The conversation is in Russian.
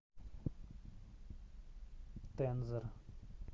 тензор